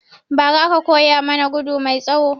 Ba ra aka koya mana gudu mai tsawo